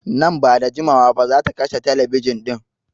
Nan ba da jimawa ba zata kashe telebijin ɗin.